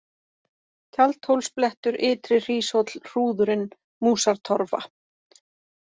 Tjaldhólsblettur, Ytri-Hríshóll, Hrúðurinn, Músartorrfa